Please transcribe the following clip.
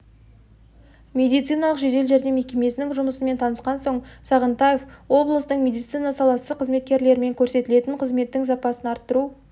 медициналық жедел жәрдем мекемесінің жұмысымен танысқан соң сағынтаев облыстың медицина саласы қызметкерлерімен көрсетілетін қызметтің сапасын арттыру